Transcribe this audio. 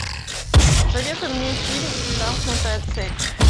посоветуй мне фильм замкнутая цепь